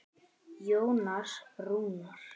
Jónas Rúnar.